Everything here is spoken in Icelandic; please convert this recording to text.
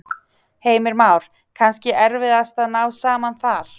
Heimir Már: Kannski erfiðast að ná saman þar?